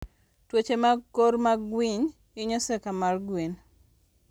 Tuoche mag kor mag winy hinyo seka mar gwen